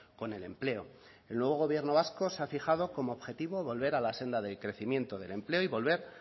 con el empleo el nuevo gobierno vasco se ha fijado como objetivo volver a la senda del crecimiento del empleo y volver